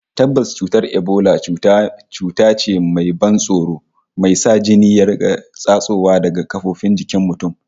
Tabbas, cutar Ebola cuta ce mai ban tsoro, mai sa jini ya riƙa tsatsowa daga kafofin jikin mutum